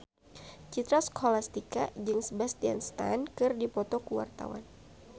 Citra Scholastika jeung Sebastian Stan keur dipoto ku wartawan